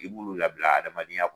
I b'ulu labila adamadenya kɔnɔ.